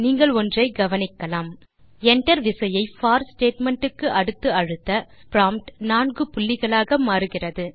நீங்கள் ஒன்றை கவனிக்கலாம் enter விசையை போர் ஸ்டேட்மெண்ட் க்கு அடுத்து அழுத்த ப்ராம்ப்ட் நான்கு புள்ளிகளாக மாறுகிறது